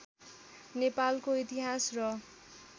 नेपालको इतिहास र